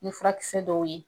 Ni furakisɛ dɔw ye.